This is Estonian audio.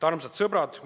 Armsad sõbrad!